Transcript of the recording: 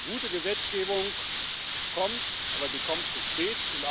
Gute Gesetzgebung kommt, aber sie kommt zu spät.